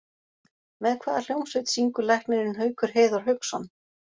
Með hvaða hljómsveit syngur læknirinn Haukur Heiðar Hauksson?